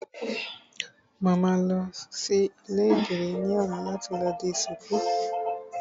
Mo máa lọ sí ilé ìdìrí ní ọ̀la láti lọ di ṣuku